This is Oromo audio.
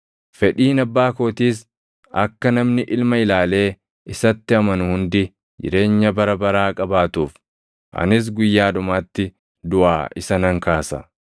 Fedhiin Abbaa kootiis akka namni Ilma ilaalee isatti amanu hundi jireenya bara baraa qabaatuuf; anis guyyaa dhumaatti duʼaa isa nan kaasa.”